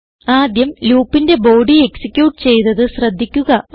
ആദ്യം loopന്റെ body execute ചെയ്തത് ശ്രദ്ധിക്കുക